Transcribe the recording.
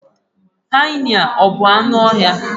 hyena a bụ anụ ọhịa?